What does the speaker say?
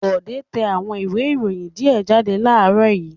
Bọ̀dé tẹ àwọn ìwé-ìròyìn díẹ̀ jáde láàárọ̀ yìí.